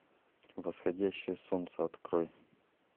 восходящее солнце открой